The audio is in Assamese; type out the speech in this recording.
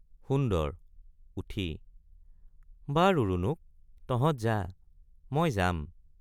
সুন্দৰ— উঠি বাৰু ৰুণুক তহঁত যা মই যাম।